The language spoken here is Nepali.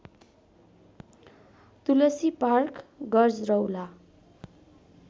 तुलसी पार्क गजरौला